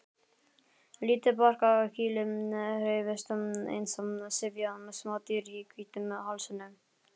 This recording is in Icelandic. Lítið barkakýlið hreyfist eins og syfjað smádýr í hvítum hálsinum.